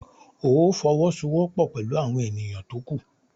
Óò fọwọ́sowọ́pọ̀ pẹ̀lú àwọn ènìyàn tó kù!